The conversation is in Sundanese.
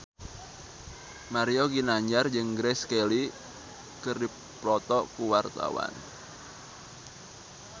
Mario Ginanjar jeung Grace Kelly keur dipoto ku wartawan